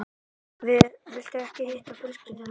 Viltu ekki hitta fjölskyldu mína?